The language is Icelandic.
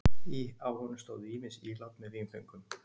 Á honum stóðu ýmis ílát með vínföngum.